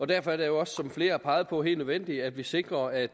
derfor er det også som flere har peget på helt nødvendigt at vi sikrer at